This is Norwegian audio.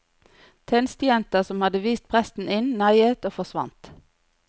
Tjenestejenta som hadde vist presten inn neiet og forsvant.